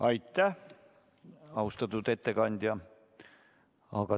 Aitäh, austatud ettekandja!